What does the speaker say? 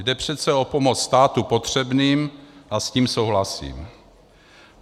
Jde přece o pomoc státu potřebným a s tím souhlasím.